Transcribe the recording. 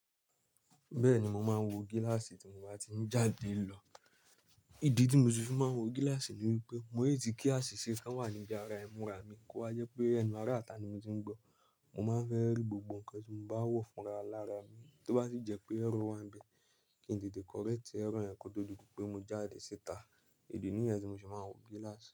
Bẹ́ẹ̀ni, mo máa ń wọ gíláàsì tí mo bá ti ń jáde lọ. Ìdí tí mo ti fi máa ń wọ gíláàsì ni wípé mo lè ti kí àsìsí kan wà níbi ara ẹ̀múra mi kó wa jẹ́ pé ẹnu ara ìta ni mo ti ń gbọ́. Mo máa ń fẹ́ rí gbogbo nǹkan tí mo bá wọ̀ fúnra lára mi. Tó bá sì jẹ́ pé ẹ́rọ̀ wa ń bẹ, kí n tètè kọrẹ́ẹ̀tì ẹ́rọ̀ yẹn kí ó tó di pé mo jáde síta. Ìdí níyẹn tí mo fi máa ń wọ gíláàsì.